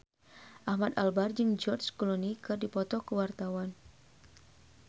Ahmad Albar jeung George Clooney keur dipoto ku wartawan